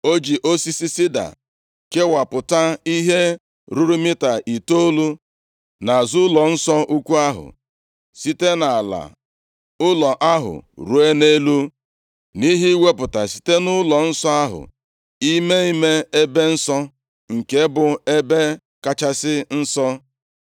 O ji osisi sida kewapụta ihe ruru mita itoolu nʼazụ ụlọnsọ ukwu ahụ, site nʼala ụlọ ahụ ruo nʼelu, nʼihi iwepụta site nʼụlọnsọ ahụ, ime ime ebe nsọ, nke bụ Ebe Kachasị Nsọ.